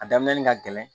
A daminɛ ka gɛlɛn